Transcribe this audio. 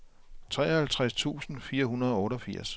treoghalvtreds tusind fire hundrede og otteogfirs